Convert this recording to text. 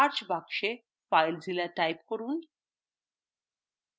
search box filezilla type করুন